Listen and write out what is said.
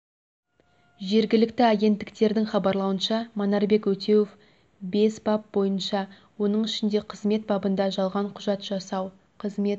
жергілікті агенттіктердің хабарлауынша манарбек өтеуов бес бап бойынша оның ішінде қызмет бабында жалған құжат жасау қызмет